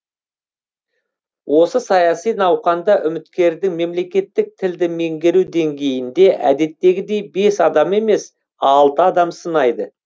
осы саяси науқанда үміткердің мемлекеттік тілді меңгеру деңгейін де әдеттегідей бес адам емес алты адам сынайды